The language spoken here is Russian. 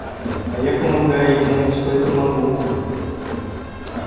а я помогаю ему насколько могу